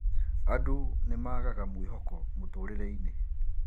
Andũ nimaagaga mwĩhoko mũtũrĩre-inĩ